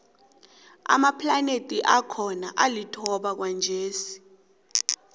amaplanethi akhona alithoba kwanjesi